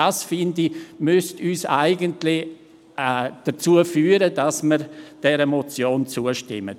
Dies müsste meiner Meinung nach dazu führen, dass wir dieser Motion zustimmen.